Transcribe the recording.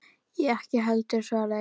Ég ekki heldur, svaraði ég.